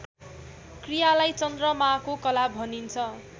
क्रियालाई चन्द्रमाको कला भनिन्छ